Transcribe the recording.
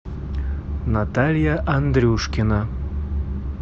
наталья андрюшкина